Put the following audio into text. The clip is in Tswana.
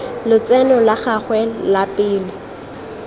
lotseno la gagwe la pele